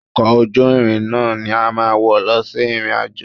Ọkọ̀ ojú irin ni a máa wọ̀ lọ sí ìrìn-àjò